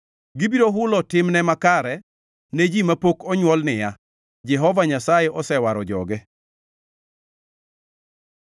Gibiro hulo timne makare, ne ji mapok onywol niya: “Jehova Nyasaye osewaro joge.”